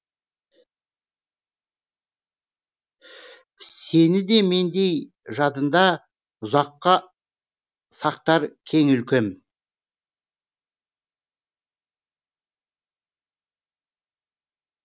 сені де мендей жадында ұзаққа сақтар кең өлкем